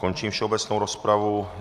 Končím všeobecnou rozpravu.